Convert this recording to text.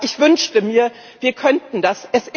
Ich wünschte mir, wir könnten das.